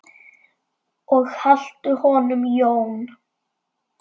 Og haltu honum Jón.